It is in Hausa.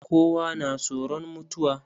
Kowa na tsoron mutuwa.